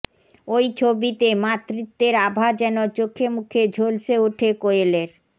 ওই ছবিতে মাতৃত্বের আভা যেন চোখেমুখে ঝলসে ওঠে কোয়েলের